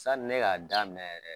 Sani ne k'a daminɛ yɛrɛ